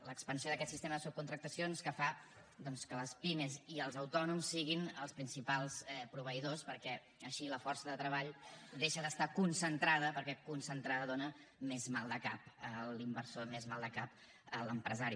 l’expansió d’aquest sistema de subcontractacions fa doncs que les pimes i els autònoms siguin els principals proveïdors perquè així la força de treball deixa d’estar concentrada perquè concentrada dóna més maldecap a l’inversor més maldecap a l’empresari